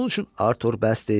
Onun üçün Artur bəsdir.